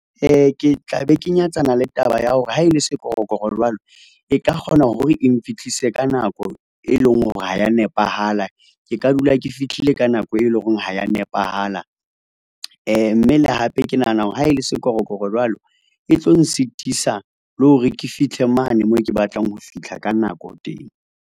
Ke tla be ke nyatsana le taba ya hore ha e le sekorokoro jwalo e ka kgona hore e nfihlise ka nako, e leng hore ha ya nepahala ke ka dula ke fihlile ka nako e leng hore ha ya nepahala, mme le hape ke nahana hore ha e le sekorokoro jwalo, e tlo nsitisa le hore ke fihle mane moo ke batlang ho fihla ka nako teng.